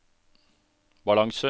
balanse